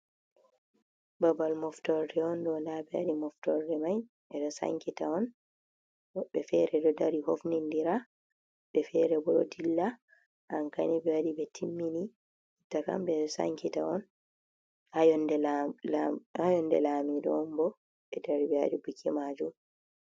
Babal moftorde on ɗo ndaɓe waɗi moftorde mai, ɓeɗo sankita on, woɓɓe feere ɗo dari hofnindira, wobɓe fere bo ɗo dilla, ankani ɓewaɗi ɓe timmini jotta kam ɓeɗo sankita on, ha yolnde lamido on bo ɓedari ɓewaɗi buki majum.